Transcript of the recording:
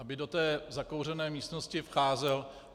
- aby do té zakouřené místnosti vcházel.